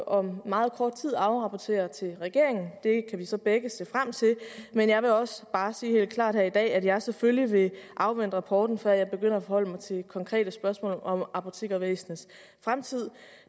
om meget kort tid afrapporterer til regeringen det kan vi så begge se frem til men jeg vil også bare sige helt klart her i dag at jeg selvfølgelig vil afvente rapporten før jeg begynder at forholde mig til konkrete spørgsmål om apotekervæsenets fremtid